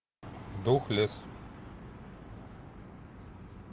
духлесс